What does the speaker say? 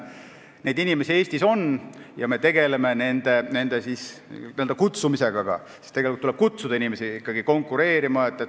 Selliseid inimesi Eestis on ja me tegeleme nende n-ö kutsumisega, sest tegelikult tuleb neid ikkagi kutsuda konkureerima.